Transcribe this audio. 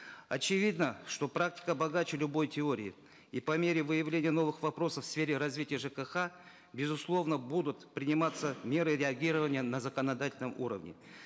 очевидно что практика богаче любой теории и по мере выявления новых вопросов в сфере развития жкх безусловно будут приниматься меры реагирования на законодательном уровне